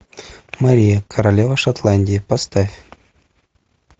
мария королева шотландии поставь